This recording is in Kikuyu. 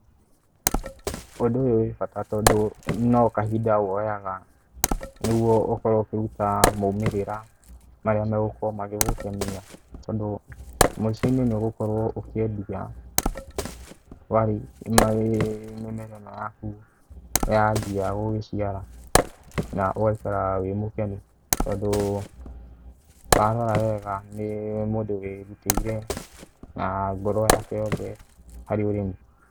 Ũndũ uyũ wĩ bata tondũ no kahinda woyaga, nĩguo ũkorwo ũkiruta maumerera marĩa megũkorwo magĩgũkenia, tondũ mũico-inĩ nĩ ũgũkorwo ũkiendia mĩmera ino yaku yambia gũgĩciara, na ũgaikaraga wĩ mũkenu tondũ warora wega nĩ mũndũ wĩruteire ũrĩmi na ngoro yake yothe harĩ ũrĩmi.